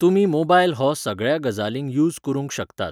तुमी मोबायल हो सगळ्या गजालींक युज करूंक शकतात